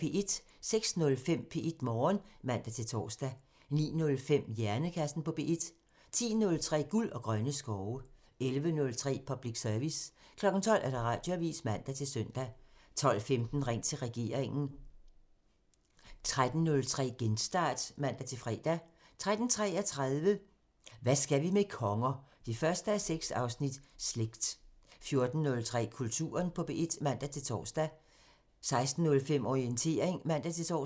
06:05: P1 Morgen (man-tor) 09:05: Hjernekassen på P1 (man) 10:03: Guld og grønne skove (man) 11:03: Public Service (man) 12:00: Radioavisen (man-søn) 12:15: Ring til regeringen (man) 13:03: Genstart (man-fre) 13:33: Hvad skal vi med konger? 1:6 – Slægt 14:03: Kulturen på P1 (man-tor) 16:05: Orientering (man-tor)